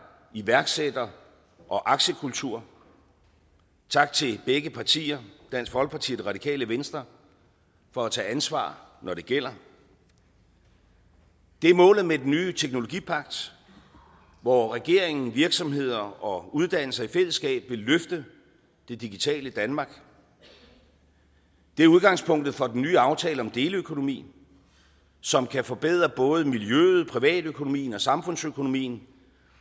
iværksætter og aktiekultur tak til begge partier dansk folkeparti og det radikale venstre for at tage ansvar når det gælder det er målet med den nye teknologipagt hvor regeringen virksomheder og uddannelser i fællesskab vil løfte det digitale danmark det er udgangspunktet for den nye aftale om deleøkonomi som kan forbedre både miljøet privatøkonomien og samfundsøkonomien